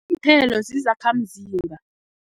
Iinthelo zizakhamzimba.